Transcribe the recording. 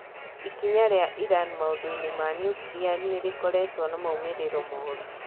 Ikinya ria Iran maũndũ-ini ma nuklia nirikoretwo na maũmiriro moru."